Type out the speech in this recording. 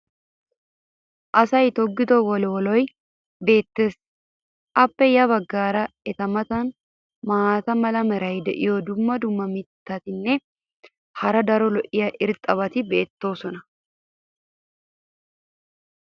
Asay toggido wolwollay beetees. appe ya bagaara eta matan maata mala meray diyo dumma dumma mitatinne hara daro lo'iya irxxabati beetoosona.